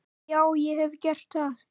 Já, ég hef gert það.